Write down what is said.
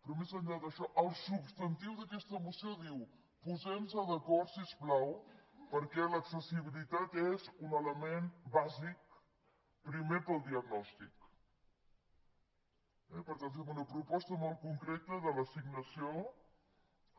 però més enllà d’això el substantiu d’aquesta moció diu posem nos d’acord si us plau perquè l’accessibilitat és un element bàsic primer per al diagnòstic eh i per tant fem una proposta molt concreta de l’assignació